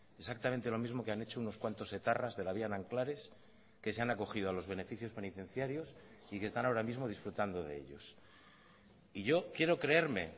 exactamente lo mismo que han hecho unos cuantos etarras de la vía nanclares que se han acogido a los beneficios penitenciarios y que están ahora mismo disfrutando de ellos y yo quiero creerme